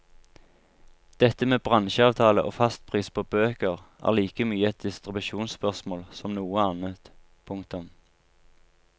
Dette med bransjeavtale og fastpris på bøker er like mye et distribusjonsspørsmål som noe annet. punktum